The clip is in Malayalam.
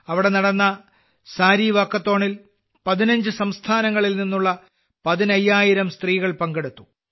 അവിടെ നടന്ന സാരി വാക്കത്തോണിൽ 15 സംസ്ഥാനങ്ങളിൽ നിന്നുള്ള 15000 സ്ത്രീകൾ പങ്കെടുത്തു